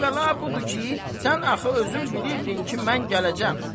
Əvvəla budur ki, sən axı özün bilirdin ki, mən gələcəyəm.